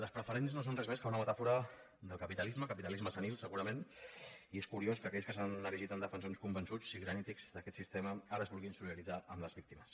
les preferents no són res més que una metàfora del capitalisme capitalisme senil segurament i és curiós que aquells que s’han erigit en defensors con·vençuts o sigui granítics d’aquest sistema ara es vulguin solidaritzar amb les víctimes